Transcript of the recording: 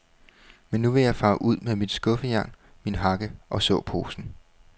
Men nu vil jeg fare ud med mit skuffejern, min hakke og såposen.